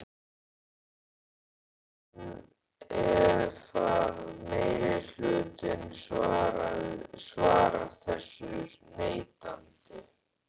Karen: En ef að meirihlutinn svarar þessu neitandi?